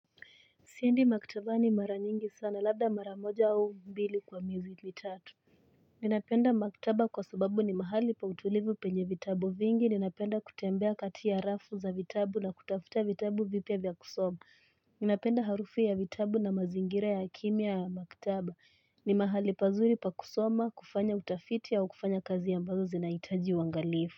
Siendi maktabani mara nyingi sana labda mara moja au mbili kwa miezi mitatu. Ninapenda maktaba kwa sababu ni mahali pa utulivu penye vitabu vingi. Ninapenda kutembea kati ya rafu za vitabu na kutafuta vitabu vipya vya kusoma. Ninapenda harufu ya vitabu na mazingire ya kimya ya maktaba. Ni mahali pazuri pa kusoma, kufanya utafiti au kufanya kazi ambazo zinahitaji uangalifu.